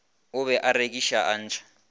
o be a rekiša atšha